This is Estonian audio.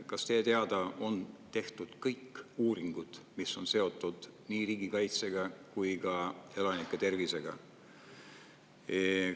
Kas teie teada on tehtud kõik uuringud, mis on seotud nii riigikaitse kui ka elanike tervisega?